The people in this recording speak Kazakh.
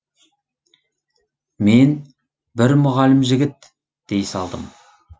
мен бір мұғалім жігіт дей салдым